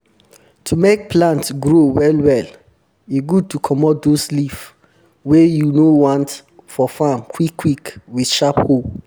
to make plant grow well well e good to comot those leaf wey you no want for farm quick quick wit sharp hoe